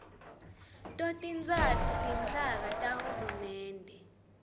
totintsatfu tinhlaka tahulumende